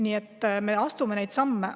Nii et me astume neid samme.